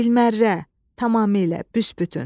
Bilmərra, tamamilə, büsbütün.